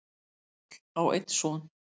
Páll á einn son.